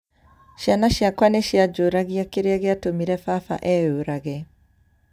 Ciana ciakwa nĩ cianjũragia kĩrĩa gĩatũmire baba eyũrage.